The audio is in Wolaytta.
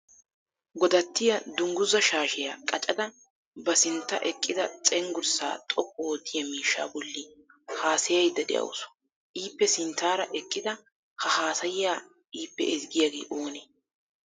Godattiya dungguzza shaashshiya qaccada ba sintta eqqida cenggurssa xoqqu oottiya miishsha bolli haasayayidda de'awusu. Ippe sinttaara eqqidi ha haassaya ippe ezggiyaage oonee?